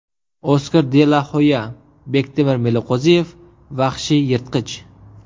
Oskar de la Hoya: Bektemir Meliqo‘ziyev vahshiy yirtqich.